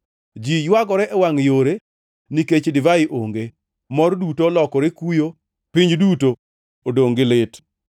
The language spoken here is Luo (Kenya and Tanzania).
Ji ywagore e wangʼ yore nikech divai onge, mor duto olokore kuyo, piny duto odongʼ gi lit.